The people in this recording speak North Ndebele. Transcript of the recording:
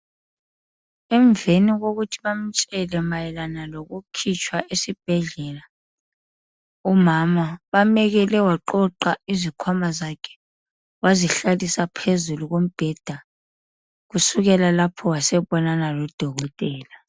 Emveni kokuthi bamtshele mayelana lokukhitshwa esibhedlela umama bamekele waqoqa izikhwama zakhe wazihlalisa phezu kombheda, kusukela lapho wasebonana lodokotela.